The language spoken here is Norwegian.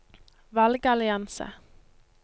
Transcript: valgallianse